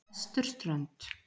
Vesturströnd